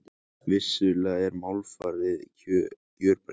Vissulega er málfarið gjörbreytt.